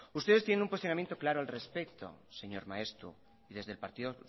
ustedes tienen un cuestionamiento claro al respecto señor maeztu y desde el partido